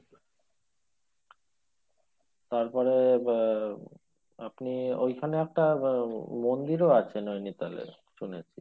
তারপরে আহ আপনি ওই খানে আপনার আহ মন্দিরও আছে নৈনিতালে শুনেছি।